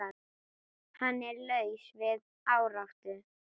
Hann er laus við áráttu.